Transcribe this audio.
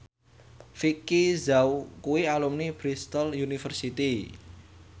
Vicki Zao kuwi alumni Bristol university